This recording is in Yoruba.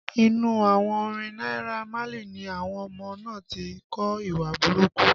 Inú àwọn orin Naira Marley ni àwọn ọmọ náà ti kọ́ ìwà burúkú